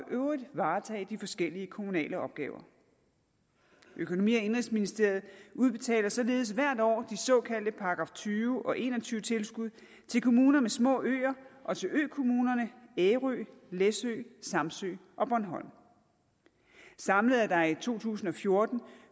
øvrigt varetage de forskellige kommunale opgaver økonomi og indenrigsministeriet udbetaler således hvert år de såkaldte § tyve og § en og tyve tilskud til kommuner med små øer og til økommunerne ærø læsø samsø og bornholm samlet er der i to tusind og fjorten